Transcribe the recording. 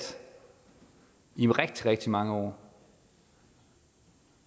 i rigtig rigtig mange år